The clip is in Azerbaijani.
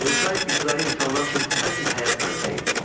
Quruçay ibtidai insanlar üçün əsl həyat mənbəyi idi.